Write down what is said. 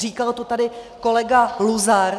Říkal to tady kolega Luzar.